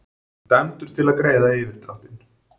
Dæmdur til að greiða yfirdráttinn